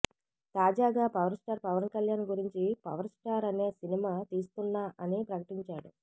తాజాగా power star Pawan Kalyan గురించి power star అనే సినిమా తీస్తున్నా అని ప్రకటించాడు